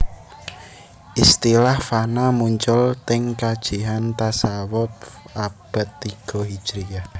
Istilah fana muncul teng kajian tasawuf abad tigo Hijriyah